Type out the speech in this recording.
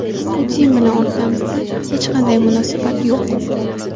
Putin bilan o‘rtamizda hech qanday munosabat yo‘q.